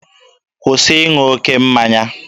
Kwụsị ịṅụ oke mmanya!